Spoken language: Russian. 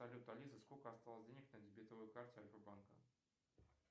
салют алиса сколько осталось денег на дебетовой карте альфа банка